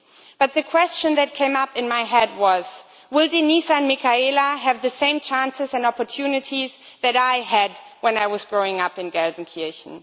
But the question that came up in my head was will Denise and Michaela have the same chances and opportunities that I had when I was growing up in Gelsenkirchen?